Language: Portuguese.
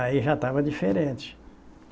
Aí já estava diferente.